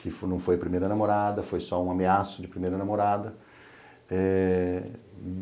que não foi primeira namorada, foi só um ameaço de primeira namorada. Eh